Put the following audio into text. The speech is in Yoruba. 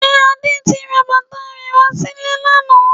Ṣe Adé ti ra bàtà rẹ wá sílé lánàá?